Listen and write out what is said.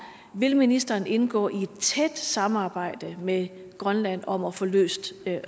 vil ministeren indgå i et tæt samarbejde med grønland om at få løst